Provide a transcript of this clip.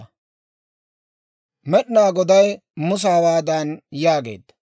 Med'inaa Goday Musa hawaadan yaageedda;